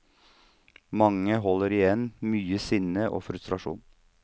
Mange holder igjen mye sinne og frustrasjon.